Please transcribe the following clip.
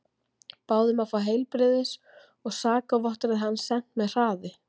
Báðu um að fá heilbrigðis og sakavottorðið hans sent með hraði.